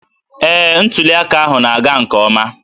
Ee, ntuli aka ahụ na-aga nke ọma